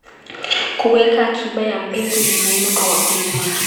Kuweka akiba ya mbegu ni muhimu kwa wakulima.